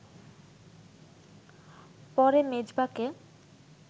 পরে মেজবাকে